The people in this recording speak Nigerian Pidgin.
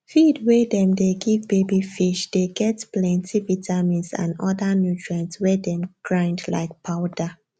feed wey them dey give baby fish dey get plenty vitamins and other nutrients wey them grind like powder